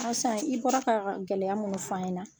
san i bɔra ka gɛlɛya minnu f'an ɲɛna